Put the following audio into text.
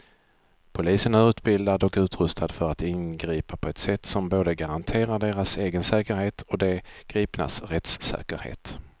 Polisen är utbildad och utrustad för att ingripa på ett sätt som både garanterar deras egen säkerhet och de gripnas rättssäkerhet.